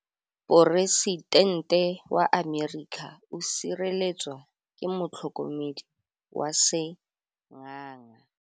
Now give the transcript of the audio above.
Poresitêntê wa Amerika o sireletswa ke motlhokomedi wa sengaga.